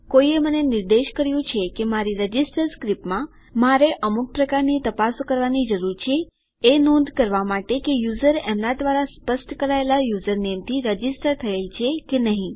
કોઈએ મને નિર્દેશ કર્યું છે કે મારી રજીસ્ટર સ્ક્રીપ્ટમાં મને અમુક પ્રકારની તપાસો કરવાની જરૂર છે એ નોંધ કરવા માટે કે યુઝર એમના દ્વારા સ્પષ્ટ કરાયેલા યુઝરનેમથી રજીસ્ટર થયેલ છે કે નહી